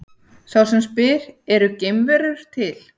Sá sem spyr Eru geimverur til?